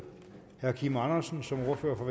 herre kim andersen som ordfører for